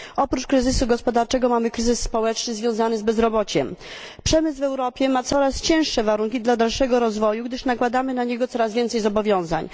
Oprócz kryzysu gospodarczego mamy kryzys społeczny związany z bezrobociem. Przemysł w Europie ma coraz trudniejsze warunki dla dalszego rozwoju, gdyż nakładamy na niego coraz więcej zobowiązań.